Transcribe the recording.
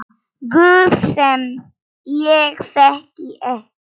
Guð sem ég þekki ekki.